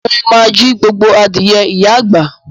Mo ma jí gbogbo adìẹ ìyá àgbà.